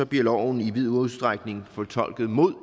bliver loven i vid udstrækning fortolket mod